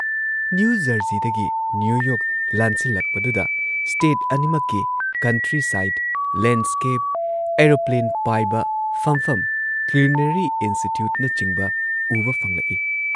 ; ꯅ꯭ꯌꯨ ꯖꯔꯁꯤꯗꯒꯤ New York ꯂꯥꯟꯁꯤꯜꯂꯛꯄꯗꯨꯗ ꯁ꯭ꯇꯦꯠ ꯑꯅꯤꯃꯛꯀꯤ ꯀꯟꯇ꯭ꯔꯤ ꯁꯥꯏꯗ, ꯂꯦꯟꯗꯁ꯭ꯀꯦꯞ, ꯑꯦꯔꯣꯄ꯭ꯂꯦꯟ ꯄꯥꯏꯕ ꯐꯝꯐꯝ, ꯀꯤꯎꯂꯤꯅꯔꯤ ꯏꯟꯁꯇꯤꯇ꯭ꯌꯨꯠꯅꯆꯤꯡꯕ ꯎꯕ ꯐꯪꯂꯛꯏ ꯫